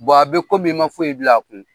Bon a bɛ i ma foyi bil'a kun.